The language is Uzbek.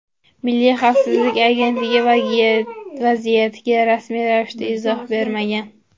Milliy xavfsizlik agentligi vaziyatga rasmiy ravishda izoh bermagan.